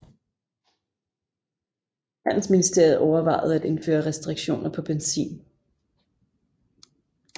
Handelsministeriet overvejede at indføre restriktioner på benzin